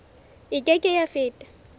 e ke ke ya feta